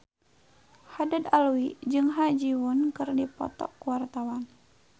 Haddad Alwi jeung Ha Ji Won keur dipoto ku wartawan